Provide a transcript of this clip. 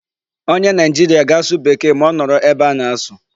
Onye Nigeria ga-asụ Bekee ma ọ nọrọ ebe a na-asụ.